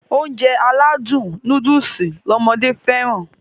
Ounjẹ aládùn nóódùsì lọmọdé fẹ́ràn